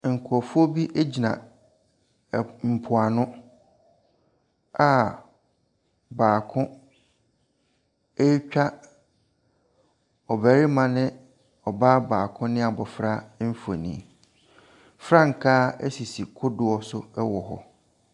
Nkrɔfoɔ bi gyina ɛɛɛ mpoano a baako retwa ɔbarima ne ɔbaa baako ne abfra mfoni. Frankaa sisi kodoɔ so wɔ hɔ.